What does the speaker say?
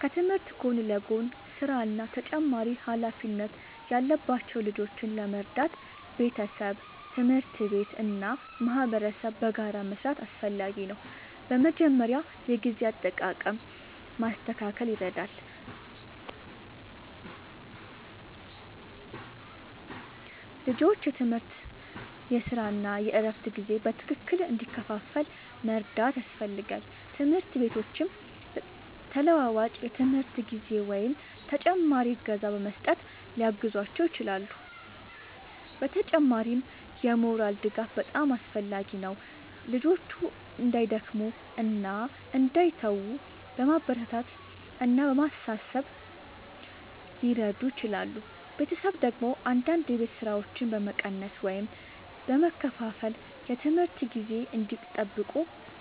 ከትምህርት ጎን ለጎን ሥራ እና ተጨማሪ ኃላፊነት ያለባቸው ልጆችን ለመርዳት ቤተሰብ፣ ትምህርት ቤት እና ማህበረሰብ በጋራ መስራት አስፈላጊ ነው። በመጀመሪያ የጊዜ አጠቃቀም ማስተካከል ይረዳል፤ ልጆቹ የትምህርት፣ የሥራ እና የእረፍት ጊዜ በትክክል እንዲከፋፈል መርዳት ያስፈልጋል። ትምህርት ቤቶችም ተለዋዋጭ የትምህርት ጊዜ ወይም ተጨማሪ እገዛ በመስጠት ሊያግዟቸው ይችላሉ። በተጨማሪም የሞራል ድጋፍ በጣም አስፈላጊ ነው፤ ልጆቹ እንዳይደክሙ እና እንዳይተዉ በማበረታታት እና በማሳሰብ ሊረዱ ይችላሉ። ቤተሰብ ደግሞ አንዳንድ የቤት ሥራዎችን በመቀነስ ወይም በመከፋፈል የትምህርት ጊዜ እንዲጠብቁ